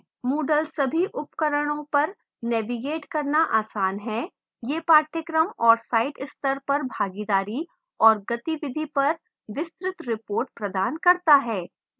moodle सभी उपकरणों पर navigate करना आसान है;